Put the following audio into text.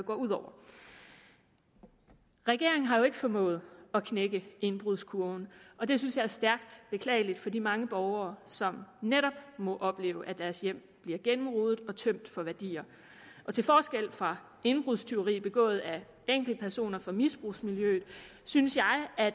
ud over regeringen har jo ikke formået at knække indbrudskurven og det synes jeg er stærkt beklageligt for de mange borgere som netop må opleve at deres hjem bliver gennemrodet og tømt for værdier og til forskel for indbrudstyveri begået af enkeltpersoner fra misbrugsmiljøet synes jeg at